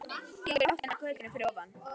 Gengur í áttina að götunni fyrir ofan.